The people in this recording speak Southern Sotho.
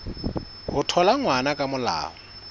ho thola ngwana ka molao